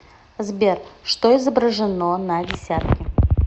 сбер что изображено на десятке